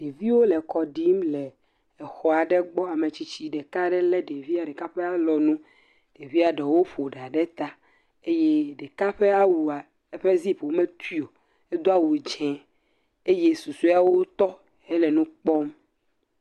Ɖeviwo le kɔ ɖim le exɔ aɖe gbɔ. Ame tsitsi ɖeka ɖe le ɖevia ɖeka e alɔnu, ɖevia ɖewo ƒo ɖa ɖe ta eye ɖeka ɖe alɔ nua, edo awu dzɛ eye susuawo tɔ he nu kpɔm.